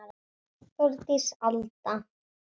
Þórdís Alda.